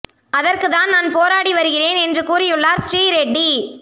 அதற்கு தான் நான் போராடி வருகிறேன் என்று கூறியுள்ளார் ஸ்ரீ ரெட்டி